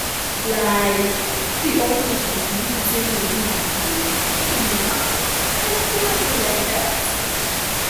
like no be all patients believe the same way healing dey healing dey happen and e dey okay like that